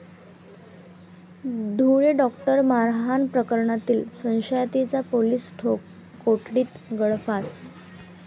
Dhule doctor मारहाण प्रकरणातील संशयिताचा पोलीस कोठडीत गळफास